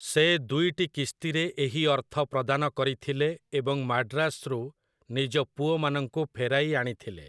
ସେ ଦୁଇଟି କିସ୍ତିରେ ଏହି ଅର୍ଥ ପ୍ରଦାନ କରିଥିଲେ ଏବଂ ମାଡ୍ରାସରୁ ନିଜ ପୁଅମାନଙ୍କୁ ଫେରାଇ ଆଣିଥିଲେ ।